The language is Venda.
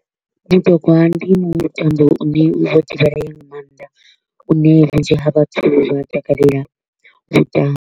Ndi mutambo u ne u vho divhalea nga maanḓa, une vhunzhi ha vhathu vha takalela u u tamba.